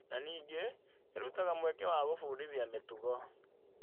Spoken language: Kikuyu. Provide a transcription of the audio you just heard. Na ningĩ, ĩrutaga mweke wa gwĩbundithia mĩtugo.